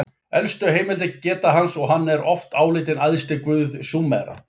Elstu heimildir geta hans og hann oft álitinn æðsti guð Súmera.